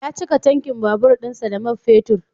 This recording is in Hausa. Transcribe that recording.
Ya cika tankin babur dinsa da mab fetur.